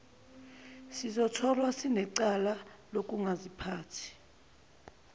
sizotholwa sinecala lokungaziphathi